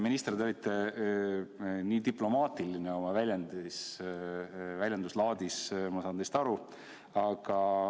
Minister, te olite nii diplomaatiline oma väljenduslaadis, ma saan teist aru.